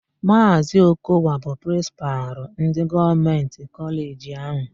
Maazị Okowa bụ Prịnsịpalụ ndị Gọọmentị kọleji áhù.